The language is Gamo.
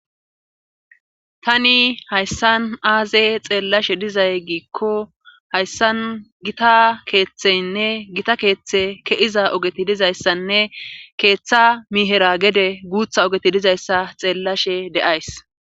tani hayssan aaze xeellashe dizay giikko hayssan gita keeththeynne gita keeththe ke7iza ogeti dizayssanne keeththa mihera gede guutha ogeti dizayssa xeellashe de7ays